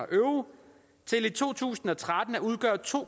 euro til i to tusind og tretten at udgøre to